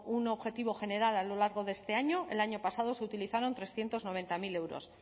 un objetivo general a lo largo de este año el año pasado se utilizaron trescientos noventa mil euros